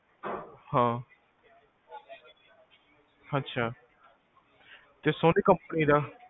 ਹਾਂ, ਅਛਾ, ਤੇ ਸੋਨੀ ਕੰਪਨੀ ਦਾ?